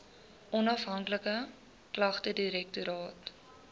onafhanklike klagtedirektoraat